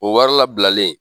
O wari labilalen